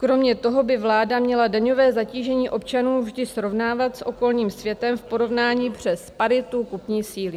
Kromě toho by vláda měla daňové zatížení občanů vždy srovnávat s okolním světem v porovnání přes paritu kupní síly.